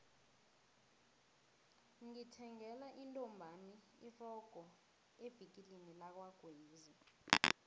ngithengele intombami irogo evikilini lakwagwezi